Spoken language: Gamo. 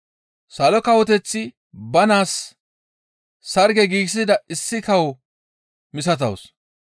«Salo Kawoteththi ba naas sarge giigsida issi kawo misatawus.